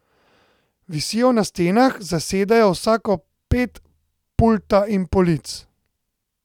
Visijo na stenah, zasedajo vsako ped pulta in polic.